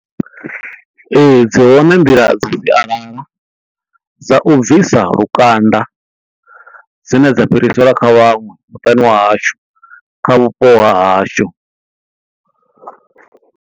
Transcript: Ee dzi hone nḓila dza sialala dza u bvisa lukanda dzine dza fhiriselwa kha vhaṅwe muṱani wa hashu kha vhupo ha hashu.